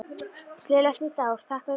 Gleðilegt nýtt ár- Takk fyrir gömlu!